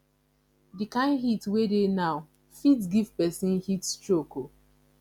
the kyn heat wey dey now fit give person heat stroke oo